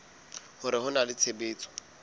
hore ho na le tshebetso